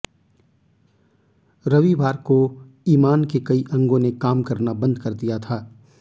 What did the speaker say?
रविवार को इमान के कई अंगों ने काम करना बंद कर दिया था